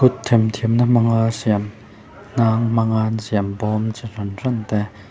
kut themthiamna hmanga siam hnang hmanga an siam bawm chi hran hran te.